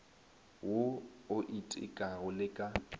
wo o itekago le ka